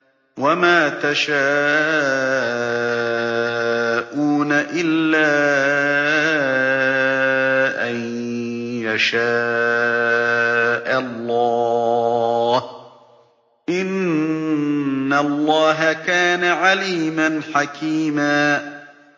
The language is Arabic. وَمَا تَشَاءُونَ إِلَّا أَن يَشَاءَ اللَّهُ ۚ إِنَّ اللَّهَ كَانَ عَلِيمًا حَكِيمًا